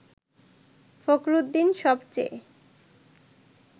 ফখরুদ্দীন সব চেয়ে